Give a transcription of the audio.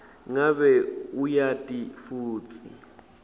ngabe uyati futsi